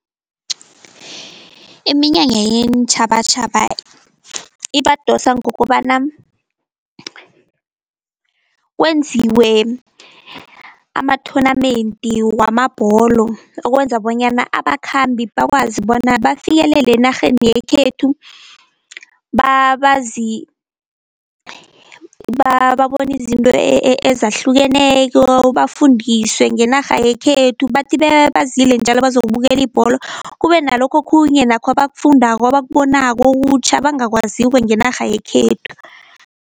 Iminyanya yeentjhabatjhaba ibadosa ngokobana kwenziwe ama-tournament wamabholo, okwenza bonyana abakhambi bakwazi bona bafikelele enarheni yekhethu, babone izinto ezahlukeneko, bafundiswe ngenarha yekhethu, bathi bazile njalo bazokubukela ibholo kube nalokho okhunye nakho abakufundako, abakubonako okutjha abangakwaziko ngenarha yekhethu.